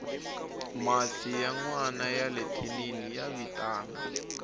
masi ya nwana yale thinini ya vitana